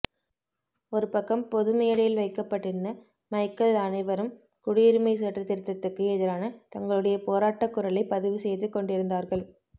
ஒருபக்கம் பொதுமேடையில் வைக்கப்பட்டிருந்த மைக்கில் அனைவரும் குடியுரிமைச் சட்டத் திருத்தத்துக்கு எதிரான தங்களுடைய போராட்டக் குரலைப் பதிவு செய்து கொண்டிருந்தார்கள்